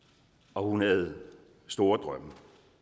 og hun havde store drømme